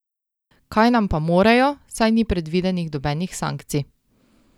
Kaj nam pa morejo, saj ni predvidenih nobenih sankcij?